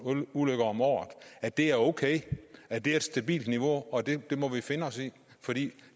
ulykker om året og at det er okay at det er et stabilt niveau og at det må vi finde os i fordi